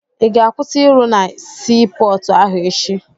Ị ga-akwụsị ịrụ na sii pọọtụ ahụ echi?